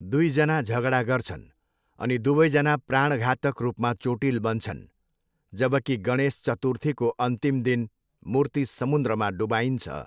दुईजना झगडा गर्छन् अनि दुवैजना प्राणघातक रूपमा चोटिल बन्छन्, जबकि गणेश चतुर्थीको अन्तिम दिन मूर्ति समुन्द्रमा डुबाइन्छ।